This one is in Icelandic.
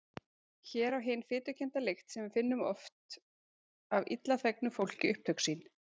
Hér á hin fitukennda lykt sem við finnum oft af illa þvegnu fólki upptök sín!